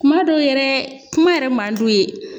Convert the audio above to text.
Kuma dɔw yɛrɛ kuma yɛrɛ man d'u ye.